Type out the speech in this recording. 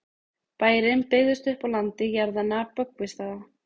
bærinn byggðist upp á landi jarðanna böggvisstaða